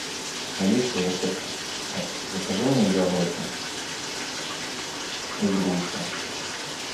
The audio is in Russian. алиса закажи мне яблоки и груши